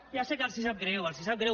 ja sé que els sap greu els sap greu